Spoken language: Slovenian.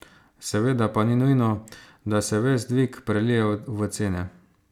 Seveda pa ni nujno, da se ves dvig prelije v cene.